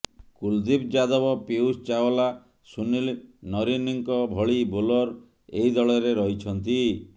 କୁଲଦୀପ ଯାଦବ ପୀୟୂଷ ଚାଓ୍ବଲା ସୁନୀଲ ନରିନଙ୍କ ଭଳି ବୋଲର ଏହି ଦଳରେ ରହିଛନ୍ତି